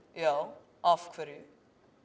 já af hverju